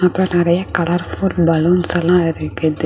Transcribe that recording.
இங்கு நிறைய colourful balloons எல்லாம் இருக்குது.